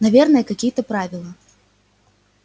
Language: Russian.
наверное какие-то правила